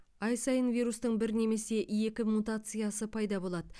ай сайын вирустың бір немесе екі мутациясы пайда болады